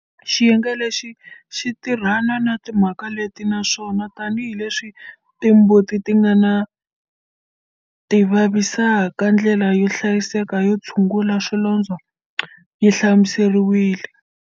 Xiyenge lexi xi tirhana na timhaka leti naswona, tanihi leswi timbuti ti nga tivavisaka, ndlela yo hlayiseka yo tshungula swilondzo yi hlamuseriwile.